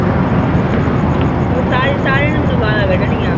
ਉਹ ਸਾਰੇ, ਸਾਰਿਆਂ ਨੇ ਮੈਨੂੰ ਗਾਲਾਂ ਕੱਢਣੀਆਂ।